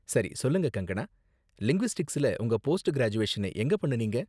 சரி, சொல்லுங்க கங்கனா, லிங்குவிஸ்டிக்ஸ்ல உங்க போஸ்ட் கிராஜுவேஷனை எங்க பண்ணுனீங்க?